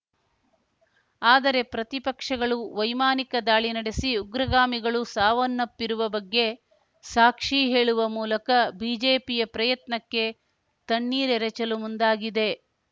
ಆದರೆ ಪ್ರತಿಪಕ್ಷಗಳು ವೈಮಾನಿಕ ದಾಳಿ ನಡೆಸಿ ಉಗ್ರಗಾಮಿಗಳು ಸಾವನ್ನಪ್ಪಿರುವ ಬಗ್ಗೆ ಸಾಕ್ಷಿ ಹೇಳುವ ಮೂಲಕ ಬಿಜೆಪಿಯ ಪ್ರಯತ್ನಕ್ಕೆ ತಣ್ಣೀರೆರೆಚಲು ಮುಂದಾಗಿದೆ